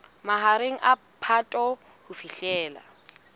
mahareng a phato ho fihlela